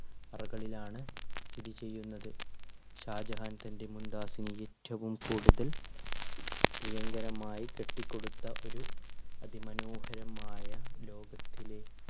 അറകളിലാണ് സ്ഥിതിചെയ്യുന്നത്. ഷാജഹാൻ തൻറെ മുംതാസിനെ ഏറ്റവും കൂടുതൽ പ്രിയങ്കരമായി കെട്ടിക്കൊടുത്ത ഒരു അതിമനോഹരമായ ലോകത്തിലെ